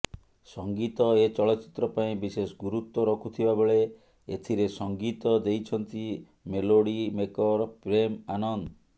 ସଙ୍ଗୀତ ଏ ଚଳଚ୍ଚିତ୍ର ପାଇଁ ବିଶେଷ ଗୁରୁତ୍ୱ ରଖୁଥିବାବେଳେ ଏଥିରେ ସଙ୍ଗୀତ ଦେଇଛନ୍ତି ମେଲୋଡି ମେକର୍ ପ୍ରେମ୍ ଆନନ୍ଦ